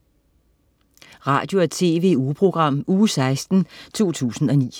Radio- og TV-ugeprogram Uge 16, 2009